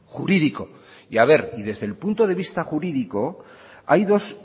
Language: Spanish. jurídico y desde el punto de vista jurídico hay dos